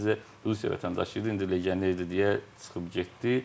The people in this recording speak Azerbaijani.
Sadəcə Rusiya vətəndaşı idi, indi legioner idi deyə çıxıb getdi.